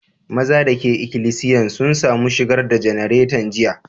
Mazan da ke ikilisiyan sun samu shigar da janaretan jiya?